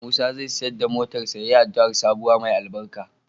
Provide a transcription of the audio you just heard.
Musa zai siyar da motarsa ​​yayi addu'ar sabuwa mai albarka.